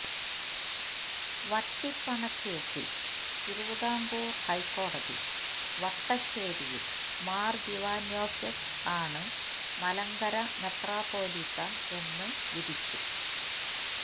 വട്ടിപ്പണക്കേസിൽ Thiruvithamkoor high കോടതി വട്ടശ്ശേരിൽ മാർ ദീവന്നാസ്യോസ് ആണ് മലങ്കര മെത്രാപ്പോലീത്ത എന്ന് വിധിച്ചു